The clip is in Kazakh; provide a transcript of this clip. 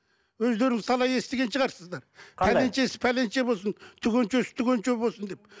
өздерің талай естіген шығарсыздар пәленшесі пәленше болсын түгеншесі түгенше болсын деп